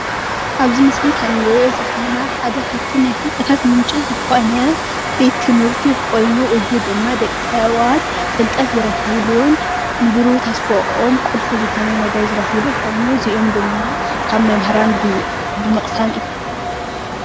ኣብዚ ምስሊ ከም እንሪኦ ዘለና ሓደ ኻብቶም ናይ ፍልጠታት ምንጪ ዝኾነ ቤት ትምህርቲ ኮይኑ እዙይ ድማ ደቂ ሰባት ፍልጠት ዝረኽብሉን ብሩህ ተስፈኦም ቁልፊ ዝኾነ ነገር ኮይኑ ዝረኽብሉ ድማ ካብ መምህራን ብምቕሳም እዩ።